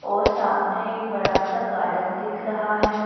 और सामने एक बड़ा सा गार्डन दिख रहा है।